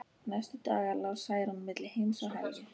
Næstu daga lá Særún milli heims og helju.